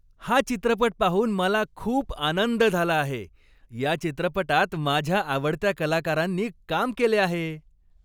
हा चित्रपट पाहून मला खूप आनंद झाला आहे. या चित्रपटात माझ्या आवडत्या कलाकारांनी काम केले आहे.